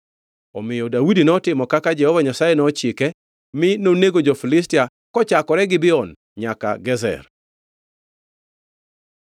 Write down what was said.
Omiyo Daudi notimo kaka Jehova Nyasaye nochike, mi nonego jo-Filistia kochakore Gibeon nyaka Gezer.